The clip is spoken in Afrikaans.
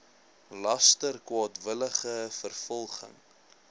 laster kwaadwillige vervolging